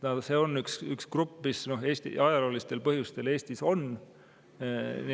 See on üks grupp inimesi, kes ajaloolistel põhjustel Eestis on.